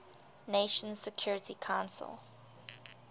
nations security council